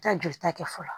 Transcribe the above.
Taa jolita kɛ fɔlɔ